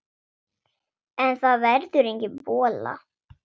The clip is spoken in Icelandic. En það verður engin bolla.